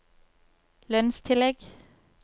lønnstillegg